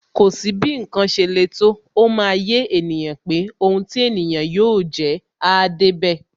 Kò sí bí ǹkan ṣe lè le tó, ó máa yé ènìyàn pé Ohun ti ènìyàn yóò jẹ́, áá débẹ̀.